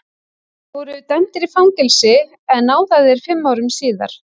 Þeir voru dæmdir í fangelsi en náðaðir fimm árum síðar.